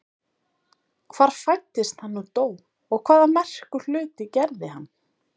Hvar fæddist hann og dó og hvaða merku hluti gerði hann?